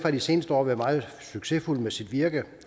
de seneste år har været meget succesfuld med sit virke